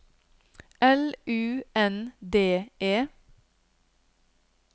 L U N D E